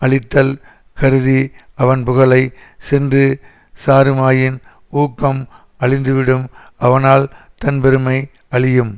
அழித்தல் கருதி அவன் புகலை சென்று சாருமாயின் ஊக்கம் அழிந்து விடும் அவனால் தன் பெருமை அழியும்